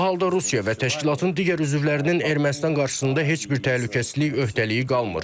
Bu halda Rusiya və təşkilatın digər üzvlərinin Ermənistan qarşısında heç bir təhlükəsizlik öhdəliyi qalmır.